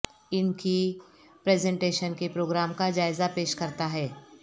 ان کی پریزنٹیشن کے پروگرام کا جائزہ پیش کرتا ہے